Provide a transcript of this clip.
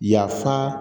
Yafa